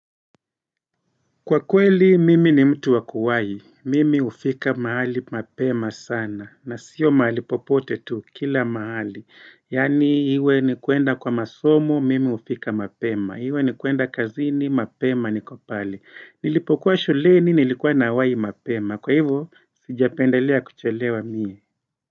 Kwa kweli, mimi ni mtu wa kuwai. Mimi hufika mahali mapema sana. Na sio mahali popote tu, kila mahali. Yaani, iwe ni kuenda kwa masomo, mimi hufika mapema. Iwe ni kuenda kazini, mapema niko pale. Nilipokuwa shuleni, nilikuwa nawai mapema. Kwa hivo, sijapendelea kuchelewa mie.